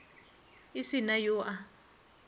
e se na yo a